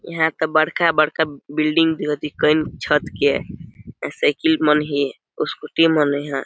यहाँ त बड़का -बड़का बिल्डिंग जो दिखइन छत के ऐसे की मन हि स्कूटी मन हैए --